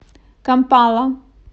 кампала